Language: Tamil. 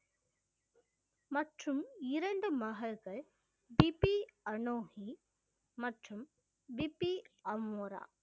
மற்றும் இரண்டு மகள்கள் பிபி அனோகி மற்றும் பிபி அமோரா